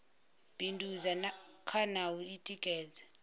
bindudza kha na u tikedza